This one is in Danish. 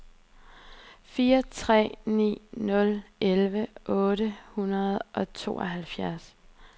fire tre ni nul elleve otte hundrede og tooghalvfjerds